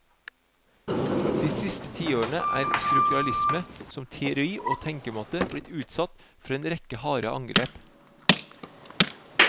De siste tiårene er strukturalisme som teori og tenkemåte blitt utsatt for en rekke harde angrep.